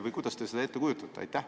Või kuidas te seda ette kujutate?